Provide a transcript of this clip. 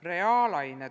Reaalained.